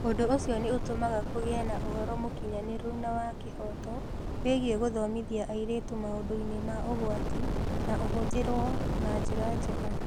Ũndũ ũcio nĩ ũtũmaga kũgĩe na ũhoro mũkinyanĩru na wa kĩhooto wĩgiĩ gũthomithia airĩtu maũndũ-inĩ ma ũgwati na ũhũthĩrũo na njĩra njega.